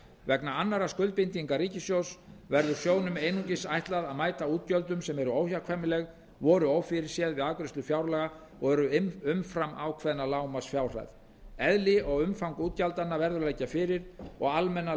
vegna annarra skuldbindinga ríkisins verður sjóðnum einungis ætlað að mæta útgjöldum sem eru óhjákvæmileg voru ófyrirséð við afgreiðslu fjárlaga og eru umfram ákveðna lágmarksfjárhæð eðli og umfang útgjaldanna verður að liggja fyrir og